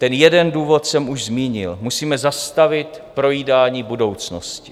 Ten jeden důvod jsem už zmínil: musíme zastavit projídání budoucnosti.